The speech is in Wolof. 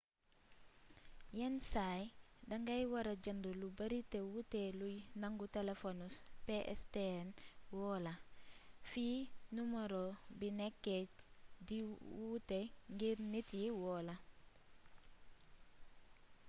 yénn say dangay wara jeend lu beeri lu wuté luy nangu téléfonu pstn woola fi numaro bi nékké di wuuté ngir nit yi woola